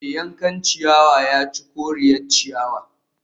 Mai yankan ciyawa ya ci koriyar ciyawa